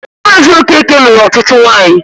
Maazị Okeke nụrụ ọtụtụ nwanyị.